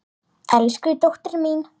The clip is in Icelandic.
Elsku dóttir mín.